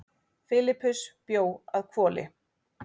Filippus bjó að Hvoli.